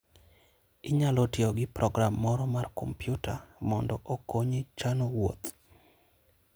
Inyalo tiyo gi program moro mar kompyuta mondo okonyi chano wuoth.